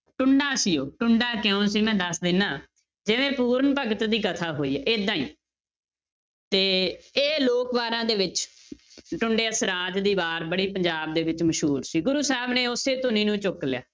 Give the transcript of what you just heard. ਟੁੰਡਾ ਸੀ ਉਹ ਟੁੰਡਾ ਕਿਉਂ ਸੀ ਮੈਂ ਦੱਸ ਦਿਨਾ, ਜਿਵੇਂ ਪੂਰਨ ਭਗਤ ਦੀ ਕਥਾ ਹੋਈ ਹੈ ਏਦਾਂ ਹੀ ਤੇ ਇਹ ਲੋਕ ਵਾਰਾਂ ਦੇ ਵਿੱਚ ਟੁੰਡੇ ਅਸਰਾਜ ਦੀ ਵਾਰ ਬੜੀ ਪੰਜਾਬ ਦੇ ਵਿੱਚ ਮਸ਼ਹੂਰ ਸੀ, ਗੁਰੂ ਸਾਹਿਬ ਨੇ ਉਸੇ ਧੁਨੀ ਨੂੰ ਚੁੱਕ ਲਿਆ